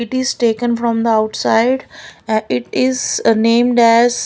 it is taken from the outside and it is named as--